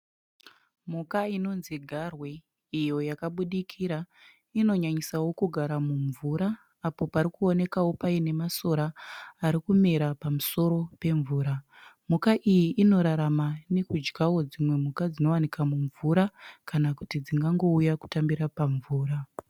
Mhuka inonzi garwe iyo yakabudikira . Inonyanyisawo kugara mumvura apo parikuonekwawo pane masora arikumera pamusoro pemvura. Mhuka iyi inorama nekudyawo dzimwe mhuka dzinowanikwa mumvura kana kuti dzingangouya kutambira pamvura.